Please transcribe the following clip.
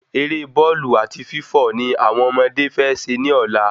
Eré Bọ́ọ̀lù àti Fífọ ni àwọn ọmọdé fé se ní Ọ̀la